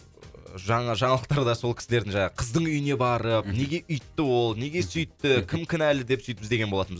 ы жаңа жаңалықтарда сол кісілерді жаңағы қыздың үйіне барып мхм неге өйтті ол неге сөйтті кім кінәлі деп сөйтіп іздеген болатынбыз